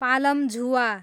पालमझुवा